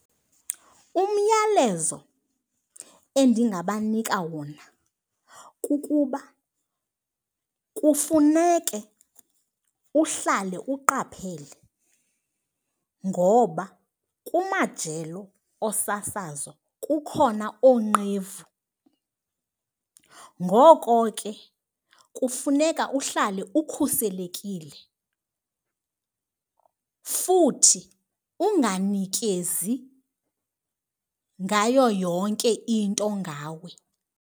Umyalezo endingabanika wona kukuba kufuneke uhlale uqaphele ngoba kumajelo osasazo kukhona oonqevu, ngoko ke kufuneka uhlale ukhuselekile futhi unganikezi ngayo yonke into ngawe